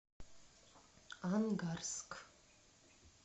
ангарск